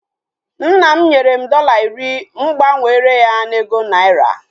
Nna m nyere m dọla iri mụ gbanwere ya na ego naira